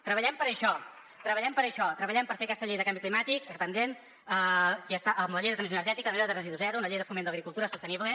treballem per a això treballem per a això treballem per fer aquesta llei del canvi climàtic pendent amb la llei de transició energètica amb la llei de residu zero amb la llei de foment d’agricultura sostenible